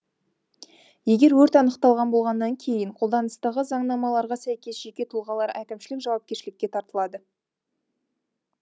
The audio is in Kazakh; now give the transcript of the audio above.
егер өрт анықталған болғаннан кейін қолданыстағы заңнамаларға сәйкес жеке тұлғалар әкімшілік жауапкершілікке тартылады